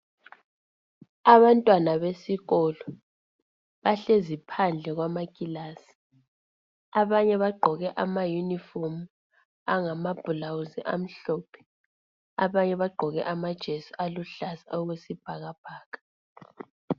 Abantwana besikolo bahlezi phandle kwamakilasi. Abanye bagqoke ama uniform angamabhulawuzi amhlophe. Abanye bagqoke amajesi aluhlaza okwesibhakabhaka .